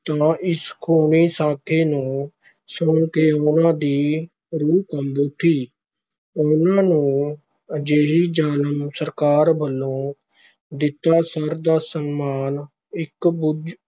ਤਾਂ ਇਸ ਖੂਨੀ ਸਾਕੇ ਨੂੰ ਸੁਣ ਕੇ ਉਹਨਾਂ ਦੀ ਰੂਹ ਕੰਬ ਉੱਠੀ, ਉਹਨਾਂ ਨੂੰ ਅਜਿਹੀ ਜ਼ਾਲਮ ਸਰਕਾਰ ਵਲੋਂ ਦਿੱਤਾ ਸਰ ਦਾ ਸਨਮਾਨ ਇੱਕ ਬੱਝ